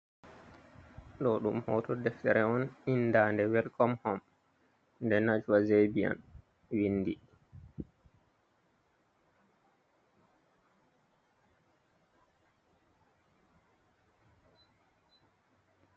Ɗoo ɗum hooto deftere on, inndaande welkom hom, nde Najwa Zebian winndi.